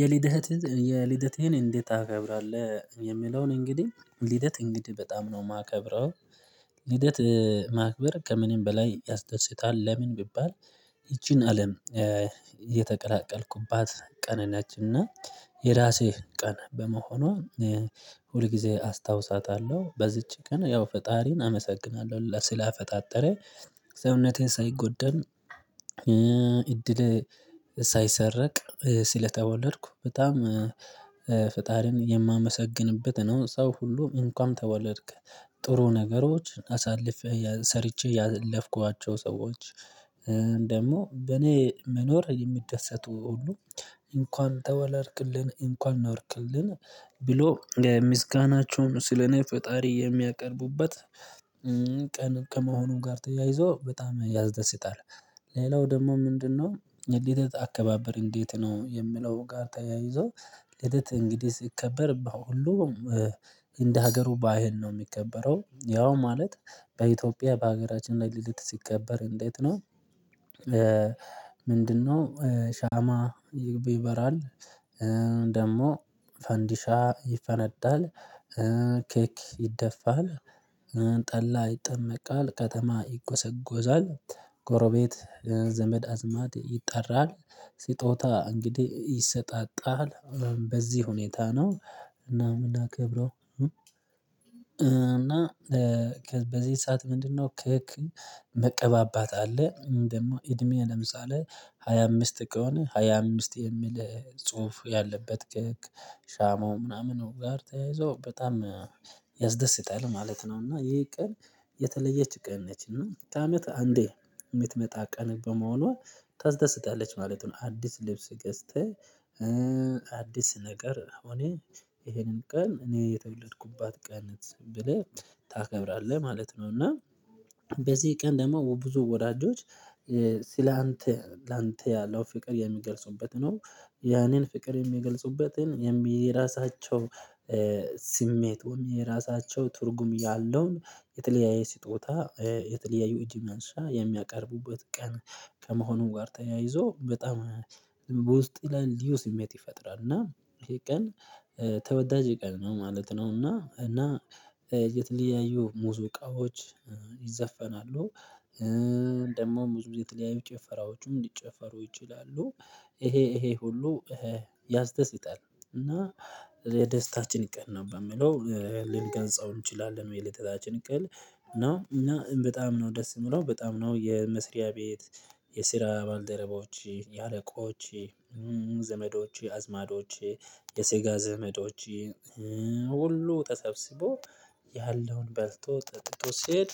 የልደትህን እንዴት ታከብራለህ? የሚለውን እንግዲህ ልደት እንግዲህ በጣም ነው የማከብረው። ልደት ማክበር ከምንም በላይ ያስደርስታል ለምን ቢባል። ይቺን አለም እየተቀላቀልኩባት ቀነናችን እና የራሴ ቀን በመሆኑ። ሁል ጊዜ አስታውሳታለሁ በዚች ቀን ያው ፈጣሪን አመሰግናለሁ ስላፈጣጠረ። ሰውነቴን ሳይጎደል። እድሌ ሳይሰረቅ ሲል ተወለድኩ። በጣም ፈጣሪን የማመሰግንበት ነው። ሰው ሁሉ እንኳን ተወለድክ። ጥሩ ነገሮችን አሳልፌ ሰርቼ ያለፍኳቸው ሰዎች። ደግሞ በኔ መኖር የሚደሰቱ ሁሉ። እንኳን ተወለድልልን እንኳን ኖርክልን ብሎ ምስጋናቸውን ስለኔ ፈጣሪ የሚያቀርቡበት። ቀን ከመሆኑ ጋር ተያይዞ በጣም ያስደስታል። ሌላው ደግሞ ምንድነው? የልደት አከባበር እንዴት ነው የሚለው ጋር ተያይዞ። ልደት እንግዲህ ሲከበር ሁሉም እንደ ሀገሩ ባህል ነው የሚከበረው። ያው ማለት በኢትዮጵያ በሀገራችን ላይ ልደት ሲከበር እንዴት ነው? ምንድነው? ሻማ ይብ ይበራል። ደግሞ ፈንዲሻ ይፈነዳል። ኬክ ይደፋል። ጠላ ይጠመቃል ከተማ ይጎዘጎዛል። ጎረቤት ዘመድ አዝማድ ይጠራል። ስጦታ እንግዲህ ይሰጣጣል። በዚህ ሁኔታ ነው። እና እምናከብረው። እና በዚህ ሰዓት ምንድነው? ኬክ መቀባባት አለ። ደግሞ እድሜ ለምሳሌ ሃያ አምስት ከሆነ ሃያ አምስት የሚል ጽሁፍ ያለበት ከሻማው ምናምን ጋር ተያይዞ በጣም ያስደስታል ማለት ነው። እና ይሄ ቀን የተለየች ቀን ነች እና አመት አንዴ የምትመጣ ቀን በመሆኗ ታስደስታለች ማለት ነው። አዲስ ልብስ ገዝተህ ነገር እኔ ይሄንን ቀን እኔ የተወለድኩባት ቀን ብለህ ታከብራለህ ማለት ነው። እና በዚህ ቀን ደግሞ ብዙ ወዳጆች ስላንተ ላንተ ያለው ፍቅር የሚገልጹበት ነው። ያኔን ፍቅር የሚገልጹበትን የራሳቸው ስሜት ወይም የራሳቸው ትርጉም ያለውን የተለያየ ስጦታ የተለያየ እጅ መንሻ የሚያቀርቡበት ቀን። ከመሆኑ ጋር ተያይዞ በጣም በውስጥ ይላል ልዩ ስሜት ይፈጥራል። እና ይሄ ቀን ተወዳጅ ቀን ነው ማለት ነው። እና እና የተለያዩ ሙዙእቃዎች ይዘፈናሉ። ደግሞ ብዙ ጊዜ የተለያዩ ጭፈራዎቹም ሊጨፈሩ ይችላሉ። ይሄ ይሄ ሁሉ ያስደስታል። እና የደስታችን ቀን ነው በምለው ልንገልጸው እንችላለን የልደታችን ቀን ነው። እና በጣም ነው ደስ የምለው በጣም ነው የመስሪያ ቤት። የስራ ባልደረባዎች የአለቆች ዘመዶች አዝማዶች የሰጋ ዘመዶች ሁሉ ተሰብስቦ ያለውን በልቶ ጠጥቶ ስሄድ።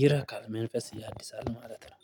ይረካል መንፈስ ያድሳል ማለት ነው።